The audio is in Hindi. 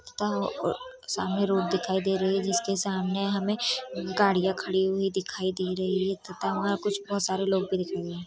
सामने रोड दिखाई दे रही है जिसके सामने हमे गड़िया खड़ी हुई दिखाई दे रही है तथा वहा कुछ बहुत सारे लोग देख रहे है।